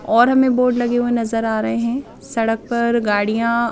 और हमें बोर्ड लगे हुए नजर आ रहे हैं सड़क पर गाड़ियां--